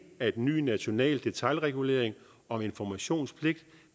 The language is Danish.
at en ny national detailregulering om informationspligt